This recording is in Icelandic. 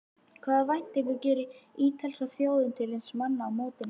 Hvaða væntingar gerir ítalska þjóðin til sinna manna á mótinu?